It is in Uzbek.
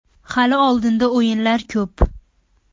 Hali oldinda o‘yinlar ko‘p.